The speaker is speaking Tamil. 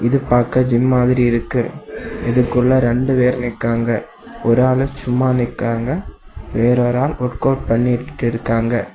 இது பார்க்க ஜிம் மாதிரி இருக்கு இதுக்குள்ள ரெண்டு பேர் நிக்காங்க ஒரு ஆள் சும்மா நிக்காங்க வேற ஒரு ஆள் ஒர்க் அவுட் பண்ணிக்கிட்டு இருக்காங்க.